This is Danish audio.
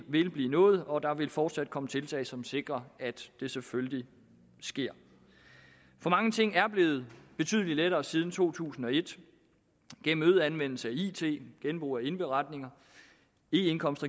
vil blive nået og der vil fortsat komme tiltag som sikrer at det selvfølgelig sker mange ting er blevet betydelig lettere siden to tusind og et gennem øget anvendelse af it og genbrug af indberetninger og eindkomst